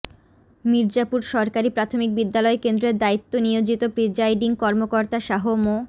মির্জাপুর সরকারি প্রাথমিক বিদ্যালয় কেন্দ্রের দায়িত্ব নিয়োজিত প্রিজাইডিং কর্মকর্তা শাহ মো